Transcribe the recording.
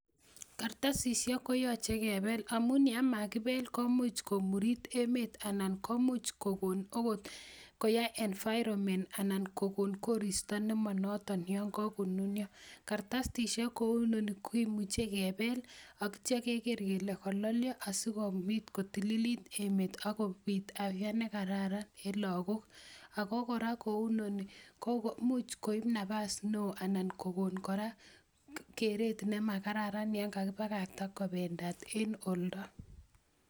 kartasisiek koyoche kebel amun yemakibel komuch komurit emeet anan komuch kogon agot koyai environment anan kokon koristo nemonoton yon kakonunyo, kartasisik kou inone kemuche kebel ak kityo keger kele kololyo asikobit kotililit emeet ak kobit afya nekararan en logok, ago kora kou inoni komuch koib nafas neo anan kogon keret nemakararan yan kakibakakta kobendat en oldo.